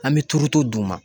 An bɛ turuto d'u ma.